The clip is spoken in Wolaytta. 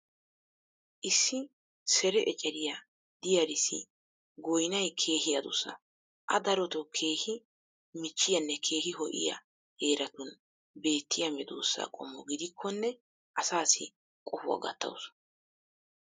issi sere ecceriyaa diyaarissi goynnay keehi addussa. a darotoo keehi michchiyaanne keehi ho'iyaa heeratun beetiya medoosa qommo gidikkonne asaassi qohuwa gattawusu.